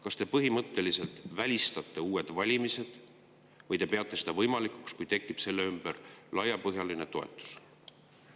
Kas te põhimõtteliselt välistate uued valimised või te peate neid võimalikuks, kui neile tekib laiapõhjaline toetus?